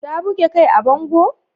Ta buge kai a bango?